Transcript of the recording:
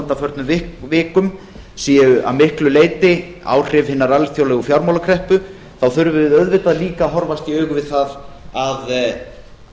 undanförnum vikum séu að miklu leyti áhrif hinnar alþjóðlegu fjármálakreppu þá þurfum við auðvitað líka að horfast í augu við það að